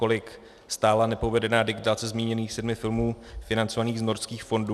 Kolik stála nepovedená digitalizace zmíněných sedmi filmů financovaná z Norských fondů?